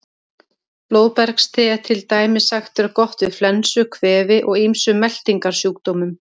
Blóðbergste er til dæmis sagt vera gott við flensu, kvefi og ýmsum meltingarsjúkdómum.